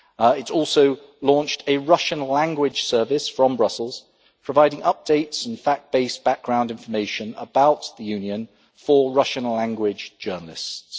It has also launched a Russian language service from Brussels, providing updates and fact based background information about the Union for Russian language journalists.